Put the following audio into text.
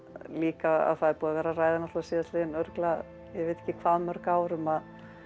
líka að það er búið að vera að ræða síðastliðin örugglega ég veit ekki hvað mörg ár um að